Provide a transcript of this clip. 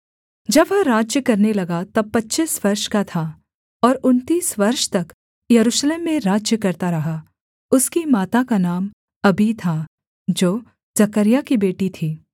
जब वह राज्य करने लगा तब पच्चीस वर्ष का था और उनतीस वर्ष तक यरूशलेम में राज्य करता रहा उसकी माता का नाम अबी था जो जकर्याह की बेटी थी